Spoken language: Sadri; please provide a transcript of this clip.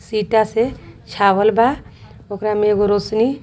सीटा से छावल बा ओकरा में एगो रोसनी।